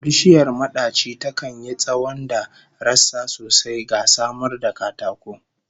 Bishiyar madaci takan yi tsawon da rassa sosai, ga samar da katako